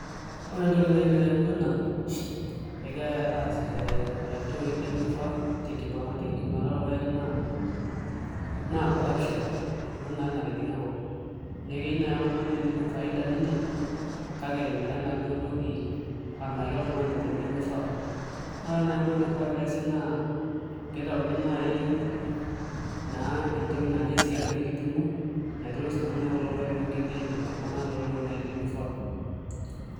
Ore entoki naai nayau ena pee egirai aasishore iltoi lemifaa tenkipimata orpaek naa corruption ena naatoi natijing'a enkop neeku ekeyieu naai oltung'ani netum faida ninye kake etimira enaduo toki amiraki oltung'ani tenkoitoi nemifaa naa ore naai enkoitoi naifaa pee eesi naa piitauni naai entoki naa ninye eesieki enaduo kipimo natoris naa naai kulo paek pee migili aipimaki iltung'anak naa toltoi lemifaa.